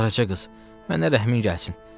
Qaraca qız, mənə rəhmin gəlsin.